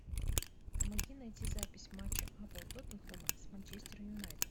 помоги найти запись матча апл тоттенхэма с манчестер юнайтед